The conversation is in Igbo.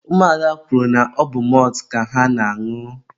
ụmụada kwuru na ọbụ mọltụ ka ha na-añụ.